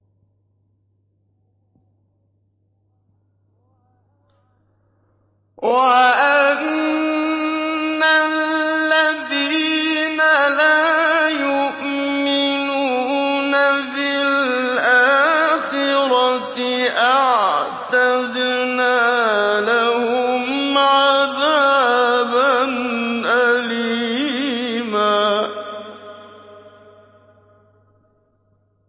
وَأَنَّ الَّذِينَ لَا يُؤْمِنُونَ بِالْآخِرَةِ أَعْتَدْنَا لَهُمْ عَذَابًا أَلِيمًا